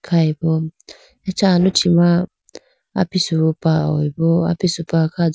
Khayi bo acha aluchi ma apisupa hoyi bo apisupa kha do.